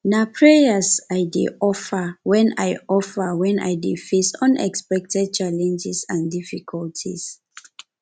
na prayers i dey offer when i offer when i dey face unexpected challenges and difficulties